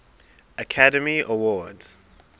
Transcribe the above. academy awards